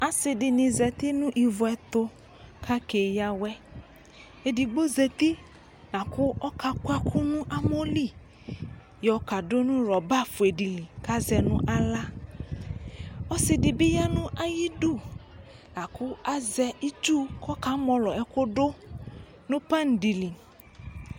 Asidini zati nʋ oviɛtu kakeyawɛEdigbo zati lakʋ ɔkakʋ ɛkʋ nʋ amɔli yɔkadʋ nʋ ɣlɔba fue dili Kazɛ nʋ aɣla Ɔsidibi yanʋ ayidu Lakʋ azɛ itsu kɔkamɔlɔ ɛkʋdʋnʋ pani dili